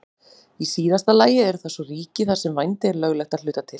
Í síðasta lagi eru það svo ríki þar sem vændi er löglegt að hluta til.